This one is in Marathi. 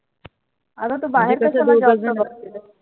आग तू बाहे र